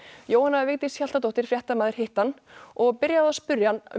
Jóhanna Vigdís Hjaltadóttir fréttamaður hitti hann og byrjaði á að spyrja um